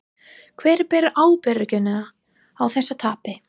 Hver ber ábyrgðina á þessu tapi?